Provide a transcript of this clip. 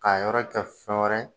K'a yɔrɔ kɛ fɛn wɛrɛ ye